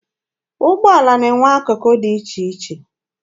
Ụgbọala na-enwe akụkụ dị iche iche.